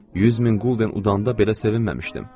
100 min qulden udanda belə sevinməmişdim.